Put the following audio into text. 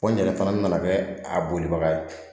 Ko n yɛrɛ fana nana kɛ a bolibaga ye